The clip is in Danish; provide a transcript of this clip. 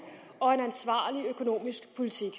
og ansvarlig økonomisk politik